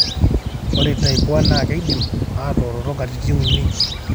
ore type 1 naa keidim atooroto katitin 3.